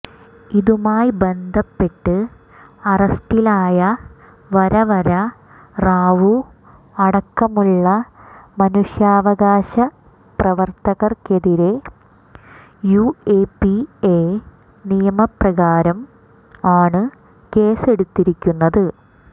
ഇതുമായി ബന്ധപ്പെട്ട് അറസ്റ്റിലായ വരവര റാവു അടക്കമുള്ള മനുഷ്യാവകാശ പ്രവർത്തകർക്കെതിരെ യുഎപിഎ നിയമപ്രകാരം ആണ് കേസെടുത്തിരിക്കുന്നത്